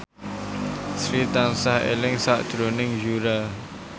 Sri tansah eling sakjroning Yura